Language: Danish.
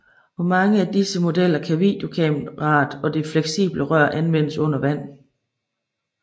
På mange af disse modeller kan videokameraet og det fleksible rør anvendes under vand